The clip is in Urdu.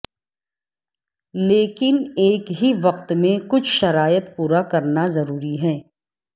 لیکن ایک ہی وقت میں کچھ شرائط پورا کرنا ضروری ہے